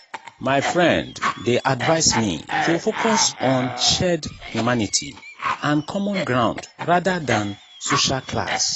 my friend dey advise me to focus on shared humanity and common ground rather than social class.